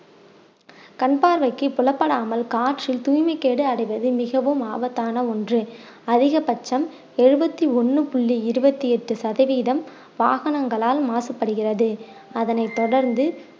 கண் பார்வைக்கு புலப்படாமல் காற்றில் தூய்மை கேடு அடைவது மிகவும் ஆபத்தான ஒண்று அதிகபட்சம் எழுவத்தி ஒண்ணு புள்ளி இருவத்தி எட்டு சதவீதம் வாகனங்களால் மாசப்படுகிறது அதனைத் தொடர்ந்து